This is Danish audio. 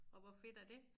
Og hvor fedt er dét?